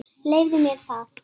Leyfðu mér það,